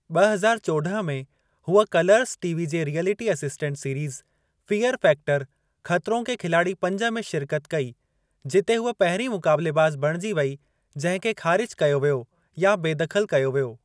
ब॒ हज़ार चोॾह में हूअ कलर्ज़ टीवी जे reality stunt series Fear Factor Khatron Ke Khiladi पंज में शिरकत कई जिते हूअ पहिरीं मुक़ाबलेबाज़ बणिजी वेई जंहिं खे ख़ारिज कयो वियो या बेदख़ल कयो वियो।